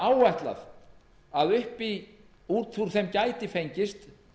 áætlað er að út úr þeim gæti fengist